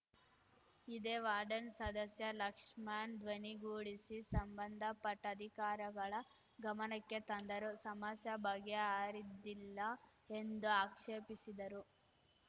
ಇದೇ ವಾರ್ಡನ್ ಸದಸ್ಯ ಲಕ್ಷ್ಮಣ್‌ ಧ್ವನಿಗೂಡಿಸಿ ಸಂಬಂಧಪಟ್ಟಅಧಿಕಾರಿಗಳ ಗಮನಕ್ಕೆ ತಂದರೂ ಸಮಸ್ಯೆ ಬಗೆಹರಿದಿಲ್ಲ ಎಂದು ಆಕ್ಷೇಪಿಸಿದರು